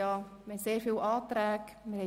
Es liegen sehr viele Anträge vor.